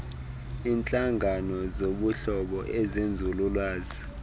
iintlangano zobuhlobo ezenzululwazi